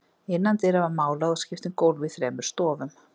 Innan dyra var málað og skipt um gólf í þremur stofum.